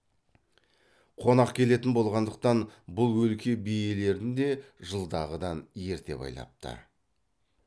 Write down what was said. қонақ келетін болғандықтан бұл өлке биелерін де жылдағыдан ерте байлапты